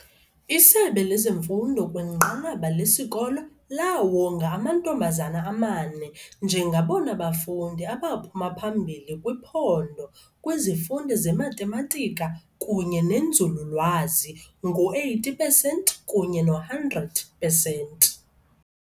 Isebe lezemfundo kwinqanaba lesikolo laawonga amantombazana amane njengabona bafundi abaphuma phambili kwiphondo kwizifundo zeMathematika kunye neNzululwazi, ngo-80 pesenti kunye no-100 pesenti.